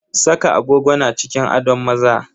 Saka agogo na cikin adon maza.